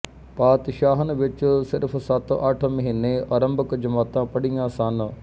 ਪਾਤਸ਼ਾਹਣ ਵਿੱਚ ਸਿਰਫ਼ ਸੱਤਅੱਠ ਮਹੀਨੇ ਆਰੰਭਕ ਜਮਾਤਾਂ ਪੜ੍ਹੀਆਂ ਸਨ